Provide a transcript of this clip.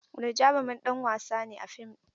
Wani jarumin ɗan wasa ne a fim ɗin?